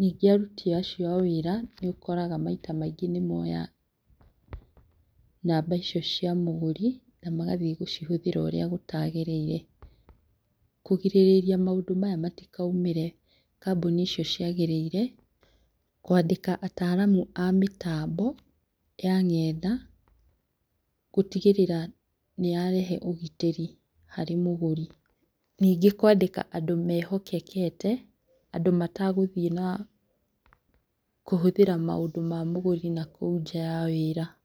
ningĩ aruti acio a wĩra nĩ ũkoraga maita maingĩ nĩ moya namba icio cia mũgũri na magathiĩ gũcihũthĩra ũrĩa gũtagĩrĩire, kũrigĩrĩria maũndũ maya matikaumĩre kambuni icio ciagĩrĩire kwandĩka ataraamu a mĩtambo ya ng'enda, gũtigĩrĩra nĩ yarehe ũgitĩri harĩ mũgũri, ningĩ kwandĩka andũ mehokekete andũ matagũthiĩ na, kũhũthĩra maũndũ ma mũgũri nakũu nja ya wĩra.